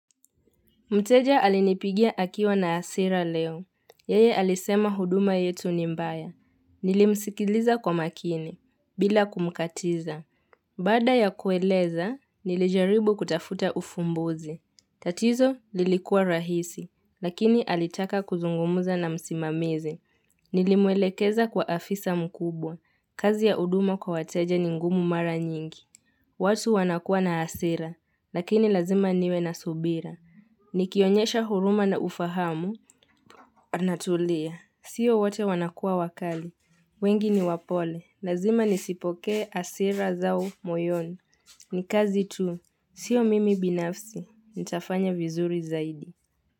Mteja alinipigia akiwa na asira leo. Yeye alisema huduma yetu ni mbaya. Nilimsikiliza kwa makini, bila kumkatiza. Bada ya kueleza, nilijaribu kutafuta ufumbuze. Tatizo lilikuwa rahisi, lakini alitaka kuzungumuza na msimamizi. Nilimwelekeza kwa afisa mkubwa. Kazi ya huduma kwa wateja ni ngumu mara nyingi. Watu wanakua na asira, lakini lazima niwe na subira. Ni kionyesha huruma na ufahamu, anatulia. Sio wate wanakua wakali. Wengi ni wapole. Lazima nisipoke asira zao moyoni. Ni kazi tu. Sio mimi binafsi. Nitafanya vizuri zaidi.